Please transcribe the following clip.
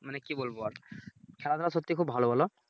মানে কি বলবো আর খেলাধুলা সত্যিই খুব ভালো বলো ।